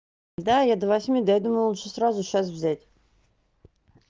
да я до восьми да я думаю лучше сразу сейчас взять